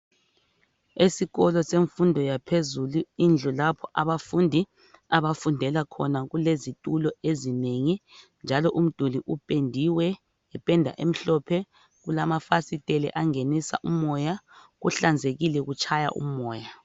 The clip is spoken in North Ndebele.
Esikolo semfundo yaphezulu indlu lapho abafundi abafundela khona kulezitulo ezinengi jalo umduli upendiwe ngependa emhlophe kulamafasitela angenisa umoya kuhlanzekile kutshaya umoya.